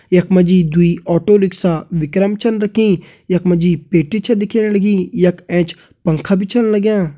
यख मा जी दुई ऑटो रिक्शा विक्रम छन रखीं यख मा जी पेटी छ दिखेण लगीं यख एंच पंखा भी छन लग्यां।